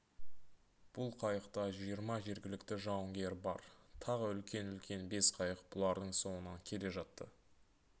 бұл қайықта жиырма жергілікті жауынгер бар тағы үлкен-үлкен бес қайық бұлардың соңынан келе жатты